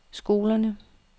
skolerne